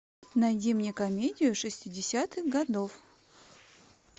найди мне комедию шестидесятых годов